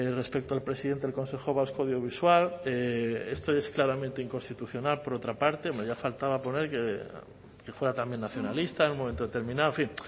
respecto al presidente del consejo vasco audiovisual esto es claramente inconstitucional por otra parte hombre ya faltaba por ahí que fuera también nacionalista en un momento determinado en fin